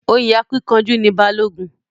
Oyè akínkanjú ni Balógun.